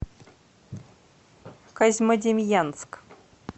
козьмодемьянск